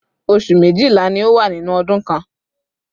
oṣù méjìlá ni ó wà nínú ọdún kan